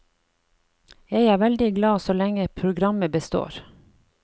Jeg er veldig glad så lenge programmet består.